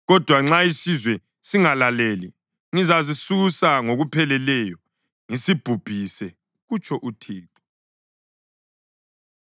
Kodwa nxa isizwe singalaleli, ngizasisusa ngokupheleleyo ngisibhubhise,” kutsho uThixo.